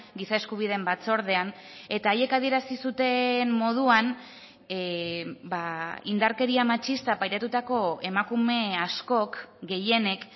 giza eskubideen batzordean eta haiek adierazi zuten moduan indarkeria matxista pairatutako emakume askok gehienek